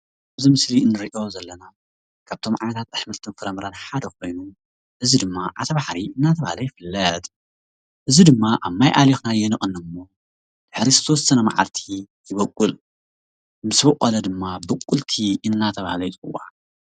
እዚ ምስሊ እንሪኦ ዘለና ካብቶም ኣሕምልትን ፍራምረን ሓደ ኮይኑ እዚ ድማ ዓተር ባሕሪ እናተብሃለ ይፍለጥ። እዚ ድማ ኣብ ማይ ኣሊኽናዮ ንቕኒ እሞ ድሕሪ ዝተወሰነ ማዓልቲ ይቦቅል። ምስ ቦቐለ ድማ ቡቁልቲ እናተብሃለ ይፅዋዕ።